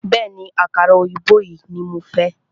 Bẹ̀ẹ́ni, àkàrà òyìnbó yìí ní mo fẹ́.